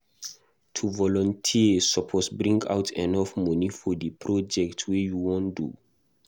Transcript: To volunteer you suppose bring out enough moni for di project wey you won do